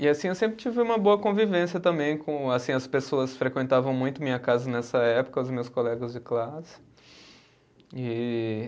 E assim, eu sempre tive uma boa convivência também com, assim, as pessoas frequentavam muito minha casa nessa época, os meus colegas de classe. E